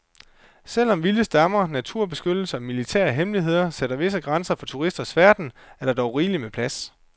Selv om vilde stammer, naturbeskyttelse og militære hemmeligheder sætter visse grænser for turisters færden, er der dog rigeligt med plads.